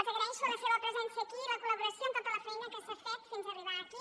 els agraeixo la seva presència aquí i la col·laboració amb tota la feina que s’ha fet fins arribar aquí